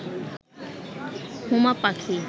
হুমা পাখি